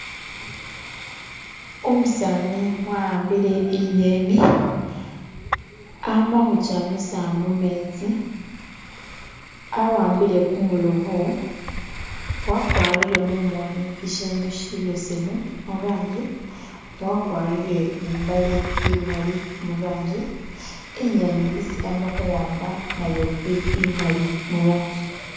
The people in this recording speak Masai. Umusani wahambile inyeni amakujamisa mumetsi awambile kumulobo wakwarile mumoni shishindu shibesemu murangi wagwarile ni imbale imali murangi inyeni isi ama kuwamba nayo ili imali murangi